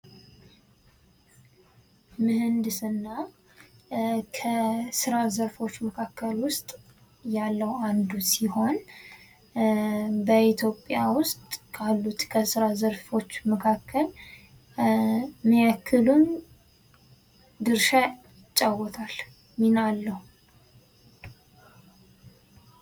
ምህንድስና ከስራ ዘርፎሽ መካከል ውስጥ ያለው አንዱ ሲሆን በኢትዮጵያ ውስጥ ካሉት ከስራ ዘርፎች መካከል ምን ያክሉን ድርሻ ይጫወታል? ሚና አለው?